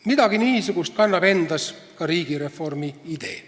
Midagi niisugust kannab endas ka riigireformi idee.